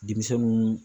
Denmisɛnnu